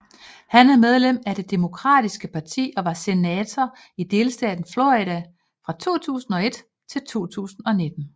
Han er medlem af Det demokratiske parti og var senator i delstaten Florida fra 2001 til 2019